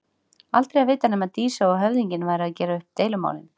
Aldrei að vita nema Dísa og höfðinginn væru að gera upp deilumálin.